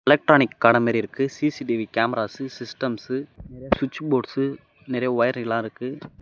Electronic கடை மாறி இருக்கு. சி_சி_டி_வி கேமராஸ் சிஸ்டம்ஸ் நெறைய ஸ்விட்ச் போர்ட்ஸ் நெறய வொயர் எல்லா இருக்கு.